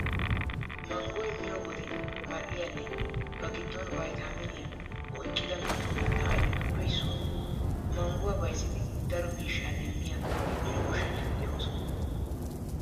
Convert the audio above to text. Manggoy miyo wode mal'iyaanne ba giddon vaytaaminiyaa oyqqida miyo mittaa ayfetuppe issuwaa. Mangguwaa bayzidi daro miishshaa demmiya Mino goshshanchchati de"oosona.